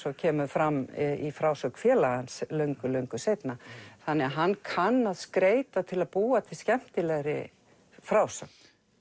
og kemur fram í frásögn félaga hans löngu löngu seinna þannig að hann kann að skreyta til að búa til skemmtilegri frásögn